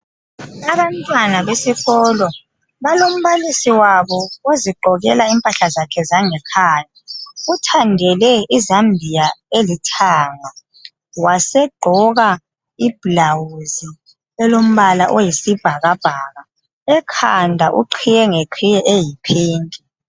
Abantwana besikolo balombalisi wabo ozigqokela impahla zakhe zangekhaya uthandele izambiya elithanga wasegqoka ibhulawuzi elombala oyisibhakabhaka ekhanda uqhiye ngeqhiye eyiphinki.